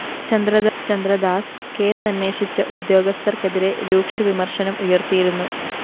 ചന്ദ്രദാസ് കേസന്വേഷിച്ച ഉദ്യോഗസ്ഥര്‍ക്കെതിരെ രൂക്ഷവിമര്‍ശനം ഉയര്‍ത്തിയിരുന്നു